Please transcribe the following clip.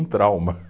Trauma.